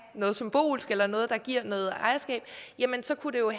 noget symbolsk eller noget der giver noget ejerskab så kan det jo